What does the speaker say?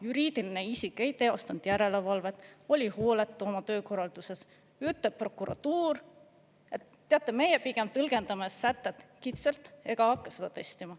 juriidiline isik ei teostanud järelevalvet, oli hooletu oma töökorralduses, ütleb prokuratuur: "Teate, meie pigem tõlgendame sätet kitsalt ega hakka seda testima.